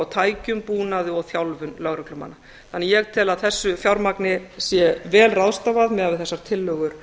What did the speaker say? á tækjum búnaði og þjálfun lögreglumanna þannig að ég tel að þessu fjármagni sé vel ráðstafað miðað við þessar tillögur